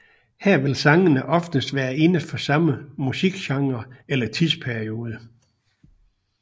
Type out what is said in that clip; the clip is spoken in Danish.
Her vil sangene oftest være inde for samme musikgenre eller tidsperiode